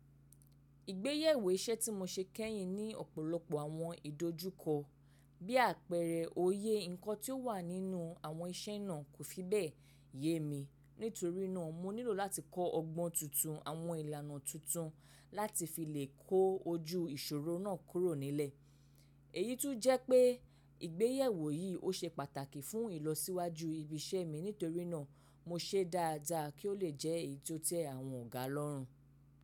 Ìgbéyàwó iṣẹ́ tí mo ṣe kẹ́yìn ní ọ̀pọ̀lọpọ̀ àwọn ìdojúkọ. Bí àpẹẹrẹ, òye nǹkan tí ó wà nínú àwọn iṣẹ́ náà kò fi bẹ́ẹ̀ yemi. Nítorí náà, mo nílò láti kọ́ ọgbọ́n tuntun, àwọn ìlànà tuntun láti fi lè kó ojú ìṣòro náà kúrò nílẹ̀. Èyí tún jẹ́ pé ìgbéyewo yìí ó ṣe pàtàkì fún ìlọsíwájú ibi iṣẹ́ mi nítorí náà mo ṣe dáadáa kí ó lè jẹ́ èyí tó tẹ́ àwọn ọ̀gá lọ́rùn.